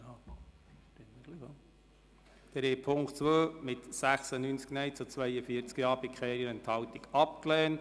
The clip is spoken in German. Sie haben Punkt 2 mit 96 Nein- zu 42 Ja-Stimmen bei keiner Enthaltung abgelehnt.